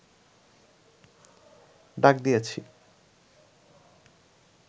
ডাক দিয়েছি